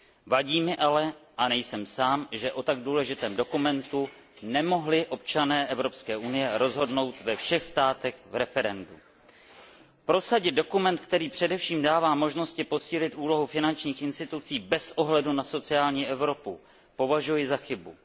Vadí mi ale a nejsem sám že o tak důležitém dokumentu nemohli občané Evropské unie rozhodnout referendem ve všech státech. Prosadit dokument, který především dává možnosti posílit úlohu finančních institucí bez ohledu na sociální Evropu, považuji za chybu.